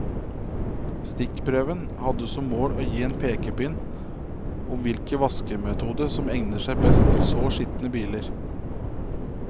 Stikkprøven hadde som mål å gi en pekepinn om hvilken vaskemetode som egnet seg best til så skitne biler.